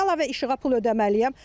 Mən niyə əlavə işığa pul ödəməliyəm?